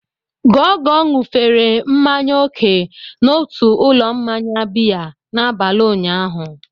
Gogo ṅụfere mmanya oke n'otu ụlọ mmanya biya n'abalị ụnyaahụ.